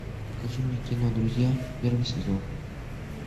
покажи мне кино друзья первый сезон